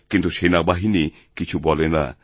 কিন্তু সেনাবাহিনী কিছু বলে না